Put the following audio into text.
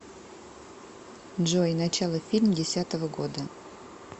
джой начало фильм десятого года